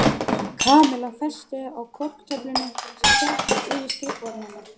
Kamilla festi þau á korktöfluna sem hékk yfir skrifborðinu hennar.